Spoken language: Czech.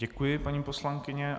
Děkuji, paní poslankyně.